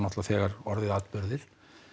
þegar orðið atburðir